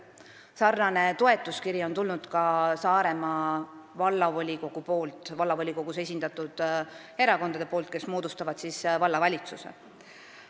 Sarnane toetuskiri on tulnud ka Saaremaa Vallavolikogult, st vallavolikogus esindatud erakondadelt, kes moodustavad vallavalitsuse.